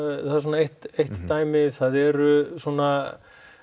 það er svona eitt dæmi það eru svona